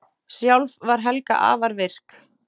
Sjálf var Helga afar virk.